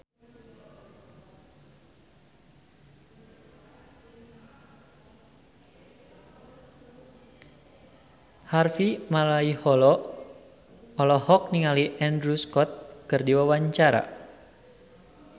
Harvey Malaiholo olohok ningali Andrew Scott keur diwawancara